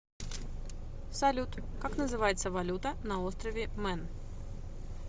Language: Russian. салют как называется валюта на острове мэн